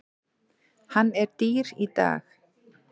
Hann er dýr í dag.